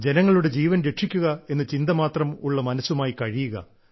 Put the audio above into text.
ജനങ്ങളുടെ ജീവൻ രക്ഷിക്കുക എന്ന ചിന്തമാത്രം ഉള്ള മനസ്സുമായി കഴിയുക